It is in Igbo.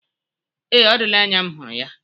Ee, ọ dịla anya m hụrụ ya.